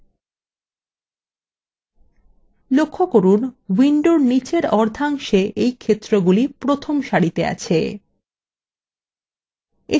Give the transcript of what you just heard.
লক্ষ্য করুন window নীচের অর্ধাংশে এই ক্ষেত্রগুলি প্রথম সারিতে আছে